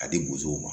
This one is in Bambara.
A di bosow ma